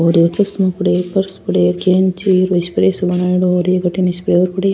और ये चश्मा पडे है पर्स पडे है कैंची स्प्रे सो बनायेडो ओर एक अठीन स्प्रे और पडे है।